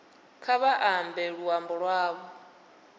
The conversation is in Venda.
kha vha ambe luambo lwavho